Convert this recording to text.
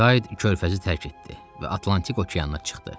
Kiyd körfəzi tərk etdi və Atlantik okeana çıxdı.